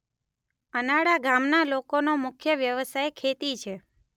અનાડા ગામના લોકોનો મુખ્ય વ્યવસાય ખેતી છે.